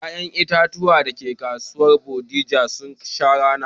Ƴaƴen itatuwan dake kasuwar Bodija sun sha rana